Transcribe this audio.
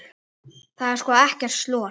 Það er sko ekkert slor.